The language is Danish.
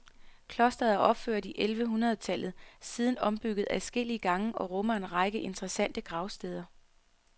Klostret er opført i ellevehundrede tallet, siden ombygget adskillige gange og rummer en række interessante gravsteder.